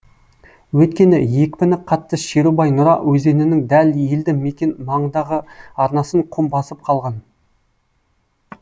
өйткені екпіні қатты шерубай нұра өзенінің дәл елді мекен маңындағы арнасын құм басып қалған